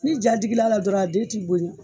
Ni ja digi l'a la dɔrɔn a den ti boyɛn